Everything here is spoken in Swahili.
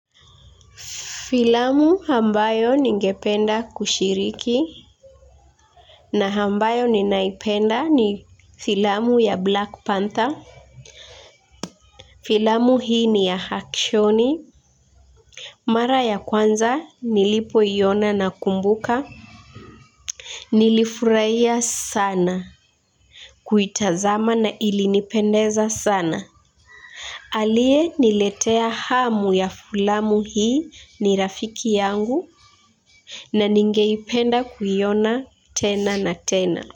Filamu ambayo ningependa kushiriki na ambayo ninaipenda ni filamu ya Black Panther. Filamu hii ni ya hakshoni. Mara ya kwanza nilipoiona nakumbuka. Nilifurahia sana kuitazama na ilinipendeza sana. Aliyeniletea hamu ya filamu hii ni rafiki yangu. Na ningeipenda kuiona tena na tena.